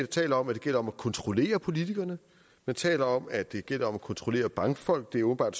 taler om at det gælder om at kontrollere politikerne man taler om at det gælder om at kontrollere bankfolk det er åbenbart